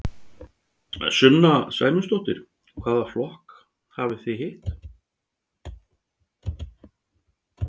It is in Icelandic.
Sunna Sæmundsdóttir: Hvaða flokka hafið þið hitt?